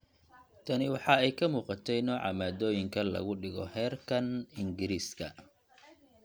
Tani waxa ay ka muuqatey nooca maaddooyinka lagu dhigo heerkan � Ingiriisiga,